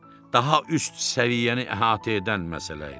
Daha üst səviyyəni əhatə edən məsələ idi.